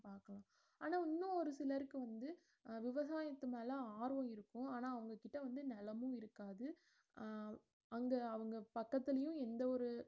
பாக்கலாம் ஆனா இன்னு ஒருசிலர்க்கு வந்து அஹ் விவசாயத்து மேல ஆர்வம் இருக்கும் ஆனா அவங்ககிட்ட வந்து நிலமும் இருக்காது அஹ் அங்க அவுங்க பக்கத்துலையும் எந்த ஒரு